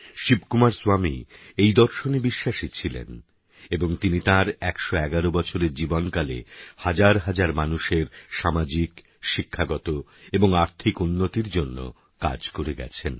শিবকুমার স্বামী এই দর্শনে বিশ্বাসী ছিলেন এবং তিনি তাঁর ১১১বছরের জীবনকালে হাজার হাজার মানুষের সামাজিক শিক্ষাগত এবং আর্থিক উন্নতির জন্যে কাজ করে গেছেন